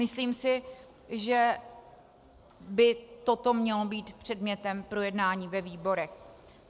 Myslím si, že by toto mělo být předmětem projednání ve výborech.